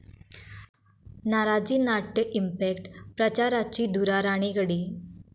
नाराजीनाट्य 'impact', प्रचाराची धुरा राणेंकडे